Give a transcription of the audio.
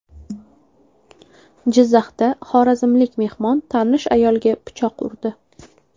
Jizzaxda xorazmlik mehmon tanish ayolga pichoq urdi.